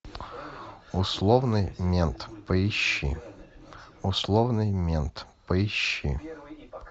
условный мент поищи условный мент поищи